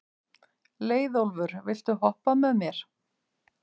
Leiðólfur, viltu hoppa með mér?